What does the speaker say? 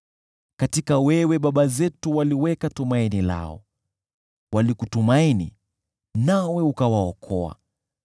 Kwako wewe baba zetu waliweka tumaini lao, walikutumaini nawe ukawaokoa.